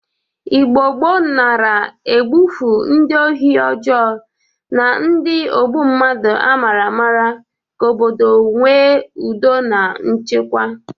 Igbo gboo nara egbufu ndị ohi ọjọọ na ndị ogbu mmadụ amara amara ka obodo nwe ụdọ na nchekwa.